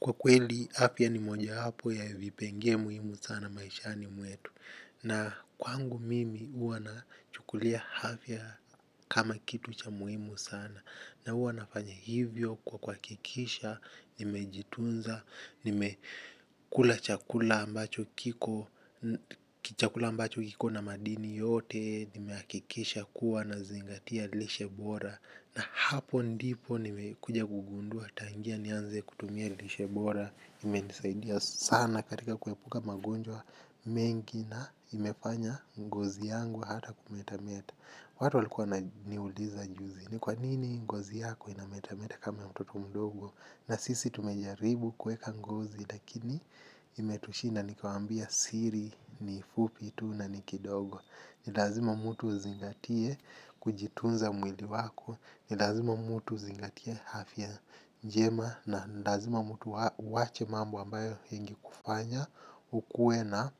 Kwa kweli, afya ni mojawapo ya vipengee muhimu sana maishani mwetu. Na kwangu mimi huwa nachukulia afya kama kitu cha muhimu sana. Na huwa nafanya hivyo kwa kuhakikisha, nimejitunza, nimekula chakula ambacho kiko chakula ambacho kiko na madini yote, nimeakikisha kuwa nazingatia lishe bora. Na hapo ndipo nimekuja kugundua tangia nianze kutumia lishe bora imenisaidia sana katika kuepuka magonjwa mengi na imefanya ngozi yangu hata kumetameta. Watu walikuwa wananiuliza juzi ni kwa nini ngozi yako inametameta kama mtoto mdogo? Na sisi tumejaribu kuweka ngozi lakini imetushina? Nikawambia siri ni fupi tu na ni kidogo. Ni lazima mtu uzingatie kujitunza mwili wako, ni lazima mtu uzingatie afya njema na ni lazima mtu uache mambo ambayo hengi kufanya, ukuwe na